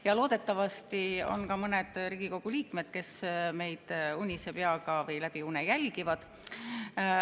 Ja loodetavasti on ka mõned Riigikogu liikmed, kes meid unise peaga või läbi une jälgivad.